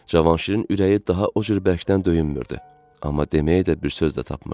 Cavanşirin ürəyi daha o cür bərkdən döyünmürdü, amma deməyə də bir söz də tapmırdı.